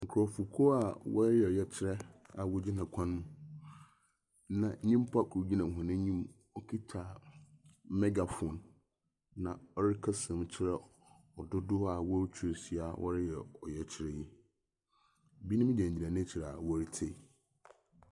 Nkurɔfokuo a wɔreyɛ ɔyɛkyerɛ na wɔgyina kwan mu, na nyimpa kor gyina hɔn enyim okita megaphone, na ɔrekasa mu kyerɛ ɔdodow a woetwa ahyia a wɔreyɛ ɔyɛkyerɛ yi. Binom gyinagyina n'ekyir a woritie.